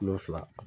Kilo fila